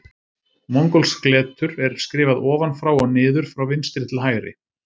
Mongólskt letur er skrifað ofan frá og niður frá vinstri til hægri.